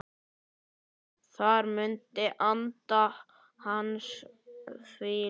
Þar mun andi hans hvíla.